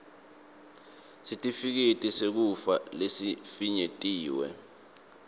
sitifiketi sekufa lesifinyetiwe